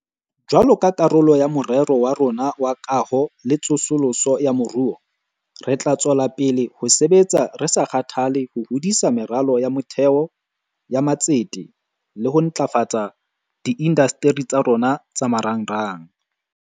Jwalo ka karolo ya Morero wa rona wa Kaho le Tsosoloso ya Moruo, re tla tswela pele ho sebetsa re sa kgathale ho hodisa meralo ya motheo ya matsete le ho ntlafatsa diindasteri tsa rona tsa marangrang.